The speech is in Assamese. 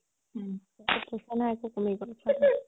তাৰ পিছত পইচা নাই আৰু কমি গ'ল